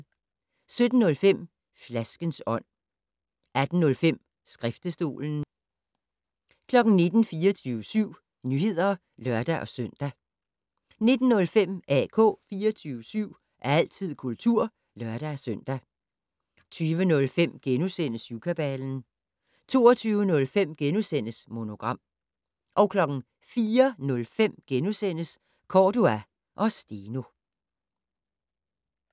17:05: Flaskens ånd 18:05: Skriftestolen 19:00: 24syv Nyheder (lør-søn) 19:05: AK 24syv - altid kultur (lør-søn) 20:05: Syvkabalen * 22:05: Monogram * 04:05: Cordua & Steno *